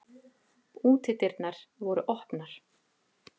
Útidyrnar voru opnar.